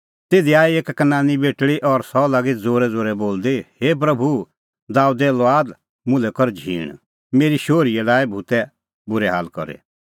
तिधी आई एक कनानी बेटल़ी और सह लागी ज़ोरैज़ोरै बोलदी हे प्रभू दाबेदे लुआद मुल्है कर झींण मेरी शोहरीए लाऐ भूतै बूरै हाल करी